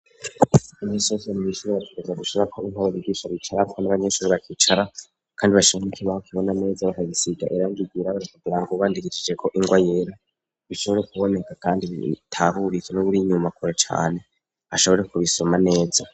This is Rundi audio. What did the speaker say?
Anessoni bishira batugeza gushara ko inkoburi ryishobicarapwa n'abanyeshuri bakicara, kandi bashanka ikoibaho kibona ameza bakagisiga erangigira bastaburango ubandigijijeko ingoa yera bishobore kuboneka, kandi btaburize n'uburi inyumakore cane ashobore kubisoma neza.